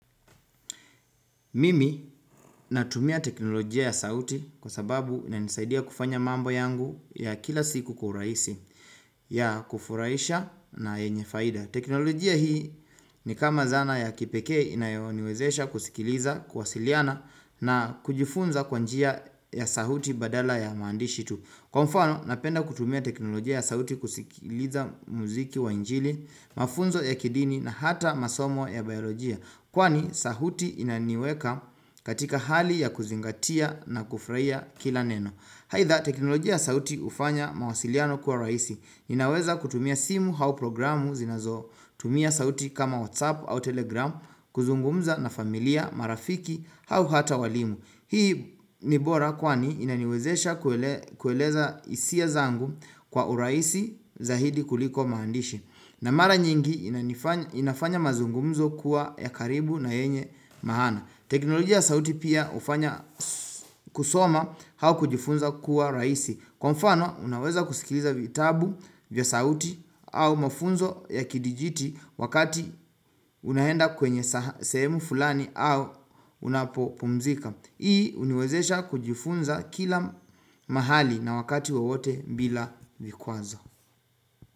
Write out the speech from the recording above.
Mimi natumia teknolojia ya sauti kwa sababu inanisaidia kufanya mambo yangu ya kila siku kwa urahisi ya kufurahisha na yenye faida teknolojia hii ni kama zana ya kipeke inayoniwezesha kusikiliza kuwasiliana na kujifunza kwa njia ya sauti badala ya maandishi tu kwa mfano napenda kutumia teknolojia ya sauti kusikiliza muziki wa injili mafunzo ya kidini na hata masomo ya baiolojia kwani sauti inaniweka katika hali ya kuzingatia na kufurahia kila neno aidha teknolojia ya sauti hufanya mawasiliano kuwa rahisi inaweza kutumia simu au programu zinazotumia sauti kama whatsapp au telegram kuzungumza na familia marafiki au hata walimu hii ni bora kwani inaniwezesha kuele kueleza hisia zangu kwa urahisi zaidi kuliko maandishi na mara nyingi inafanya mazungumzo kuwa ya karibu na yenye maana teknolojia ya sauti pia hufanya kusoma au kujifunza kuwa rahisi Kwa mfano unaweza kusikiliza vitabu vya sauti au mafunzo ya kidijiti wakati unaenda kwenye sehemu fulani au unapo pumzika hii huniwezesha kujifunza kila mahali na wakati wowote bila vikwazo.